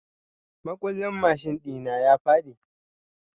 Makullin mashin ɗi na ya faɗi.